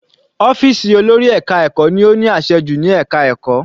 Ọ́fìsì olórí ẹka ẹ̀kọ́ ni ó ní àṣẹ jù ní ẹka ẹ̀kọ́.